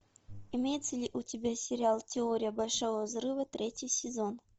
имеется ли у тебя сериал теория большого взрыва третий сезон